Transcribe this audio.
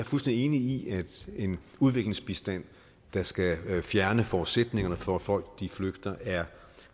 fuldstændig enig i at en udviklingsbistand der skal fjerne forudsætningerne for at folk flygter er